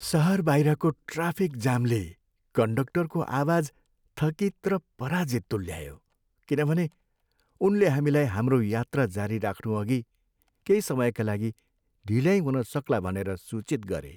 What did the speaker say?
सहर बाहिरको ट्राफिक जामले कन्डक्टरको आवाज थकित र पराजित तुल्यायो किनभने उनले हामीलाई हाम्रो यात्रा जारी राख्नुअघि केही समयका लागि ढिल्याई हुन सक्ला भनेर सूचित गरे।